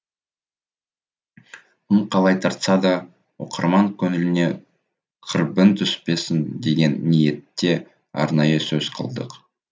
кім қалай тартса да оқырман көңіліне кірбің түспесін деген ниетте арнайы сөз қылдық